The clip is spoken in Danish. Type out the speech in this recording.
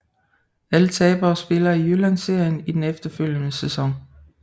Alle tabere spiller i Jyllandsserien i den efterfølgende sæson